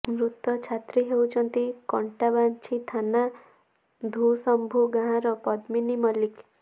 ମୃତ ଛାତ୍ରୀ ହେଉଛନ୍ତି କଣ୍ଟାବାଞ୍ଜି ଥାନା ଧୁସମ୍ଭୁ ଗାଁର ପଦ୍ମିନୀ ମଲ୍ଲିକ